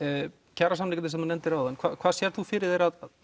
kjarasamningarnir sem þú nefndir áðan hvað sérð þú fyrir þér að